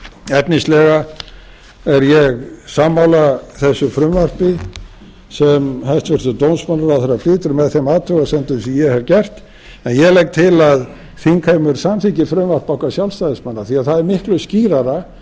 efnislega er ég sammála þessu frumvarpi sem hæstvirtur dómsmálaráðherra flytur með þeim athugasemdum sem ég hef gert en ég legg til að þingheimur samþykki frumvarp okkar sjálfstæðismanna því það er miklu skýrara